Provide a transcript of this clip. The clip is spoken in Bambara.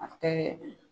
A tɛ